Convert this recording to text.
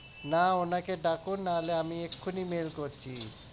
না ওনাকে ডাকুন নাহলে আমি এক্ষুনি mail করছি